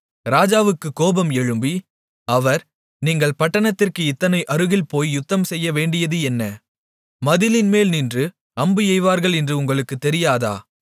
ராஜாவுக்குக் கோபம் எழும்பி அவர் நீங்கள் பட்டணத்திற்கு இத்தனை அருகில் போய் யுத்தம் செய்யவேண்டியது என்ன மதிலின் மேல் நின்று அம்பு எய்வார்கள் என்று உங்களுக்குத் தெரியாதா